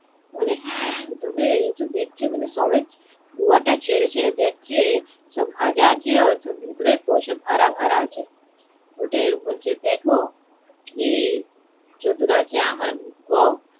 ওরে হ্যা এ তো দেখছি মানে সবে পুয়া তা ছিড়ে ছিড়ে দেখছে ওটা ভাজা আছে ভেতরে পয়সা ভরা ভরা আছে, বলছে দেখো কি চতুর আছে আমার বৌ